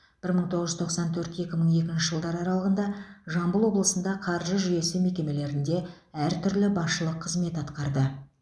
бір мың тоғыз жүз тоқсан төрт екі мың екінші жылдары аралығында жамбыл облысында қаржы жүйесі мекемелерінде әр түрлі басшылық қызмет атқарды